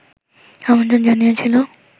আমন্ত্রণ জানিয়েছিল